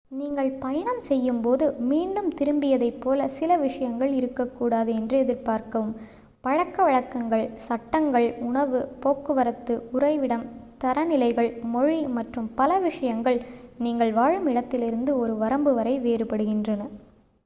"நீங்கள் பயணம் செய்யும்போது ​​""மீண்டும் திரும்பியதை" போல சில விஷயங்கள் இருக்கக்கூடாது என்று எதிர்பார்க்கவும். பழக்கவழக்கங்கள் சட்டங்கள் உணவு போக்குவரத்து உறைவிடம் தரநிலைகள் மொழி மற்றும் பல விஷயங்கள் நீங்கள் வாழும் இடத்திலிருந்து ஒரு வரம்பு வரை வேறுபடுகின்றன.